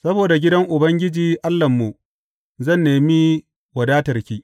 Saboda gidan Ubangiji Allahnmu, zan nemi wadatarki.